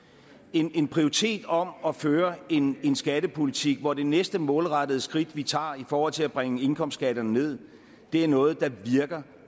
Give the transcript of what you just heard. en prioritering om at føre en en skattepolitik hvor det næste målrettede skridt vi tager i forhold til at bringe indkomstskatterne ned er noget der virker